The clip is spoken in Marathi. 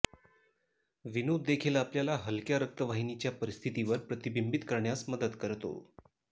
विनोद देखील आपल्याला हलक्या रक्तवाहिनीच्या परिस्थितीवर प्रतिबिंबित करण्यास मदत करतो